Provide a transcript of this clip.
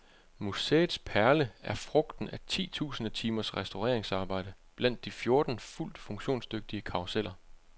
Museets perle er frugten af ti tusinde timers restaureringsarbejde blandt de fjorten fuldt funktionsdygtige karruseller.